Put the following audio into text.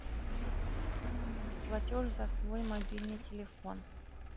платеж за свой мобильный телефон